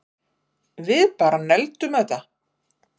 Við bara negldum þetta